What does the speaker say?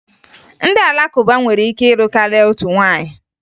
Ndị Alakụba nwere ike ịlụ karịa otu nwaanyị